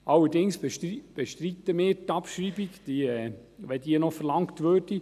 Allerdings bestreiten wir die Abschreibung, falls diese verlangt wird.